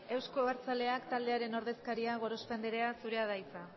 euzko abertzaleak taldearen ordezkaria gorospe anderea zurea da hitza